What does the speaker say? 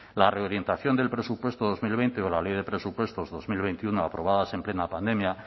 la reorientación del presupuesto de dos mil veinte o la ley de presupuestos dos mil veintiuno aprobadas en plena pandemia